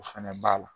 O fɛnɛ b'a la